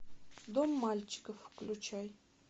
дом мальчиков включай